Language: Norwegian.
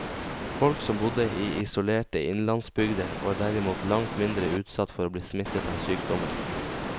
Folk som bodde i isolerte innlandsbygder var derimot langt mindre utsatt for å bli smittet av sykdommer.